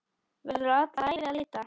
Verður alla ævi að leita.